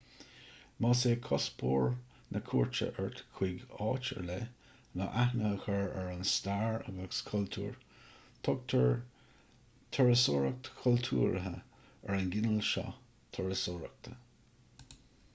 más é cuspóir na cuairte ort chuig áit ar leith ná aithne a chur ar an stair agus chultúr tugtar turasóireacht chultúrtha ar an gcineál seo turasóireachta